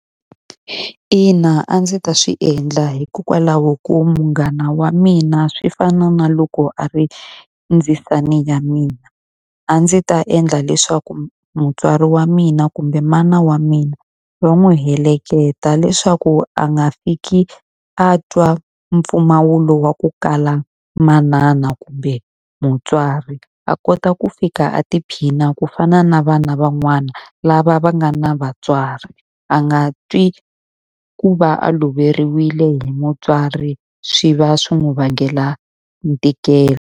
Ina a ndzi ta swi endla hikokwalaho ko munghana wa mina swi fana na loko a ri ndzisane ya mina. A ndzi ta endla leswaku mutswari wa mina kumbe mana wa mina va n'wi heleketa leswaku a nga fiki a twa mimpfumawulo wa ku kala manana kumbe mutswari. A kota ku fika a tiphina ku fana na vana van'wana lava va nga na vatswari. A nga twi ku va a loveriwile hi mutswari swi va swi n'wi vangela ntikelo.